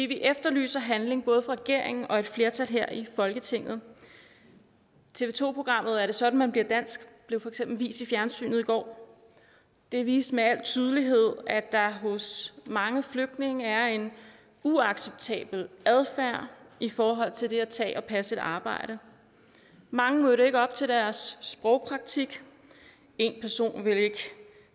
vi efterlyser handling både fra regeringen og et flertal her i folketinget tv to programmet er det sådan man bliver dansk blev for eksempel vist i fjernsynet i går og det viste med al tydelighed at der hos mange flygtninge er en uacceptabel adfærd i forhold til det at tage og passe et arbejde mange mødte ikke op til deres sprogpraktik en person ville ikke